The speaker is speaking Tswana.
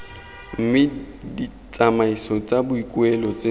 mme ditsamaiso tsa boikuelo tse